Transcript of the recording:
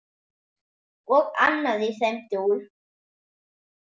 Og annað í þeim dúr.